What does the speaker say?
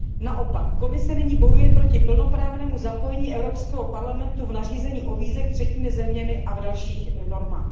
Naopak, Komise nyní bojuje proti plnoprávnému zapojení Evropského parlamentu do nařízení o vízech udělených třetími zeměmi a do dalších norem.